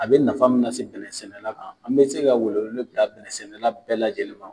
A be nafa mun la se bɛnɛ sɛnɛ la kan, an be se ka welewele bila bɛnɛ sɛnɛla bɛɛ lajɛlen ma.